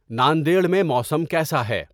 ناندیڈ میں موسم کیسا ہے